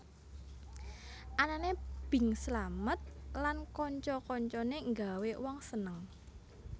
Anané Bing Slamet lan kanca kancane nggawé wong seneng